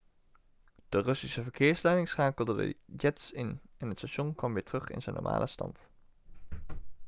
de russische verkeersleiding schakelde de jets in en het station kwam weer terug in zijn normale stand